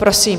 Prosím.